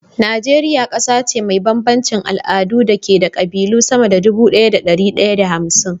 Najeriya ƙasa ce mai bambancin al'adu da ke da ƙabilu sama da dubu ɗaya da dari ɗaya da hamsin